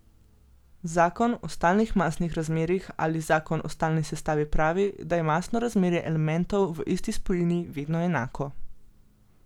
Zakon o stalnih masnih razmerjih ali zakon o stalni sestavi pravi, da je masno razmerje elementov v isti spojini vedno enako.